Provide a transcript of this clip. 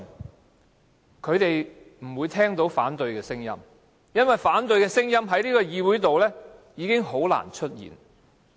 但是，他們不會聽到反對的聲音，因為反對的聲音已經很難在這個議會出現。